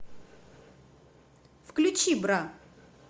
включи бра